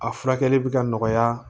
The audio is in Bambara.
A furakɛli bɛ ka nɔgɔya